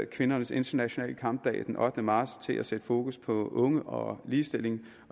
kvindernes internationale kampdag den ottende marts til at sætte fokus på unge og ligestilling